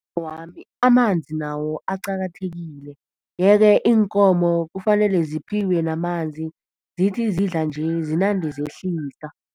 Amanzi nawo aqakathekile yeke iinkomo kufanele ziphiwe namanzi, zithi zidla nje zinande zehlisa.